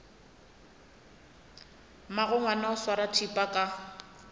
mmagongwana o swara thipa ka